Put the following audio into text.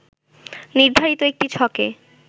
নির্ধারিত একটি ছকে